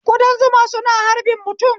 Kudan zuma suna harbin mutum